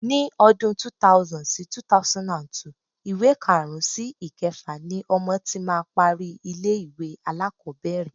Ni ọdún 2000 sí 2002, ìwé karùn-ún sí ìkẹfà ni ọmọ tí máa parí ilé-ìwé alákọ̀ọ́bẹ̀rẹ̀.